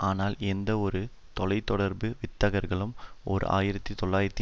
ஆனால் எந்தவொரு தொலை தொடர்பு வித்தகர்களும் ஓர் ஆயிரத்தி தொள்ளாயிரத்தி